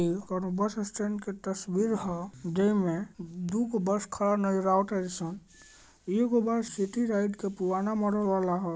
इहो कोनो bus stand के तस्वीर ह जे में दू गो बस खड़ा नजर आवता जैसन एगो बस सिटी राइट के पुराना मॉडल वाला हई।